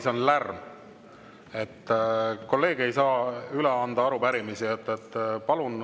Saalis on lärm ja kolleeg ei saa üle anda arupärimisi.